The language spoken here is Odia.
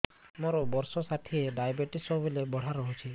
ମୋର ବର୍ଷ ଷାଠିଏ ଡାଏବେଟିସ ସବୁବେଳ ବଢ଼ା ରହୁଛି